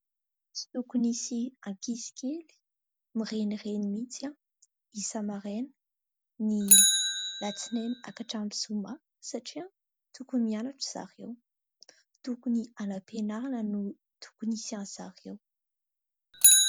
Tsy tokony hisy ankizy kely mirenireny mihitsy isa-maraina ny alatsinainy ka hatramin'ny zoma satria tokony mianatra zareo, tokony any am-pianarana no tokony hisy an'i zareo.